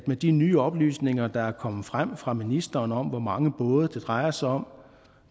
med de nye oplysninger der er kommet frem fra ministeren om hvor mange både det drejer sig om